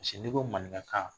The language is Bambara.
n'i ko maninkakan